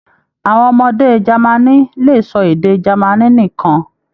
Àwọn ọmọdé Jámánì lè sọ èdè Jámánì nìkàn.